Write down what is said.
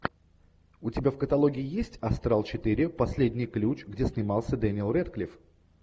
у тебя в каталоге есть астрал четыре последний ключ где снимался дэниел рэдклифф